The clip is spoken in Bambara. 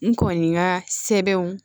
N kɔni ka sɛbɛnw